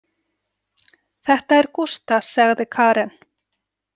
Þetta er Gústa, sagði Karen.